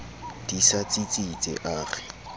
di sa tsitsitse a re